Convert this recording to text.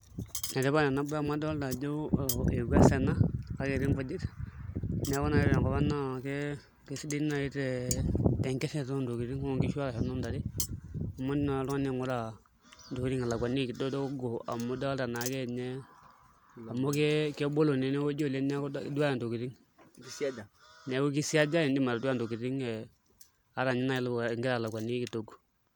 Enetipat enabaye amu adolta ajo ewuas ena kake etii nkujit neeku ore naai tenkop ang' naa kesidai naai tenkirrira oontokitin enkishu arashu inoontare amu indim naai oltung'ani aing'ura ntokitin ilakuaniki kidogo amu idolta naake ninye amu kebolo naa enewueji amu iduaya ntokitin amu isiaja, neeku kisiaja iindim atadua ntokitin ata naai ilakianiki kidogo.